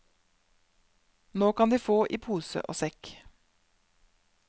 Nå kan de få i pose og sekk.